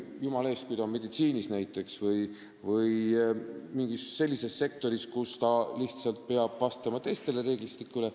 Jumala eest, kui ta töötab näiteks meditsiinis või mingis sellises sektoris, siis ta lihtsalt peab vastama teisele reeglistikule.